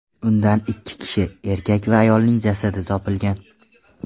Undan ikki kishi: erkak va ayolning jasadi topilgan.